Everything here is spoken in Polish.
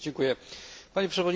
Panie Przewodniczący!